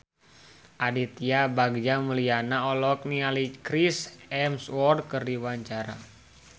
Aditya Bagja Mulyana olohok ningali Chris Hemsworth keur diwawancara